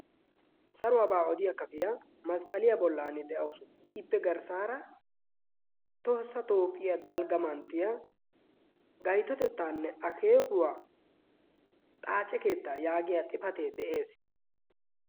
saruwaabaa odiyaa kafiyaa masqqaliyaa bollan de'awusu. ippe garssaara toosa toophiyaa dalgga manttiya gaytotettaanne akeekuwaa xaace keetta yaagiya xifatee de'ees.